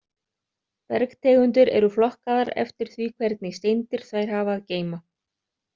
Bergtegundir eru flokkaðar eftir því hvernig steindir þær hafa að geyma.